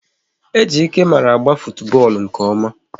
Ejike mara agba futubọọlụ nke ọma